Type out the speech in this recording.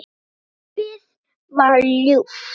Lífið var ljúft.